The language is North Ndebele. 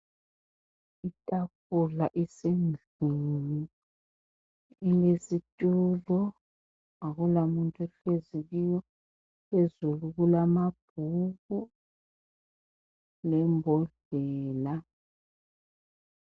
Itafula isendlini ilesitulo akulamuntu ohlezi kiyo. Phezulu kulamabhuku lembodlela.